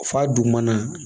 Fa dugumana